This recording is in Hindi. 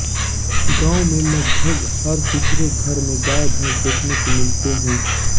गांव में लगभग हर तीसरे घर में गाय भैंस देखने को मिलते हैं